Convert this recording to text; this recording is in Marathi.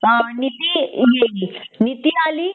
नीती आ गे गे नीती आली